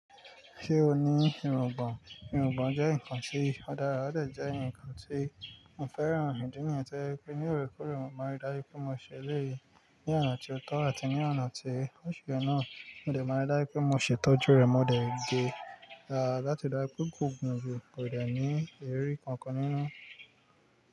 Ṣé o ní ìròngbọ̀n? Ìròngbọ̀n jé nǹkan tí ó dára, ó dẹ̀ jẹ́ nǹkan tí mo fẹ́ràn ídíì niyẹn tí o jẹ́ pé ní òrékoore mo máa dájú pé mo ṣele yí ní ọ̀nà tí ó tọ̀ àti ní ọ̀nà tí óṣùrẹ̀ náà, mo dẹ̀ máa dájú pé mo ṣé tọ́jú rè, mo dẹ̀ gé lati rí dáju pé kò gùn ju kò dẹ̀ ní èrí kankan nínú.